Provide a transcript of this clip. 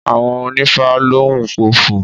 Àwọn onífá lóún pofò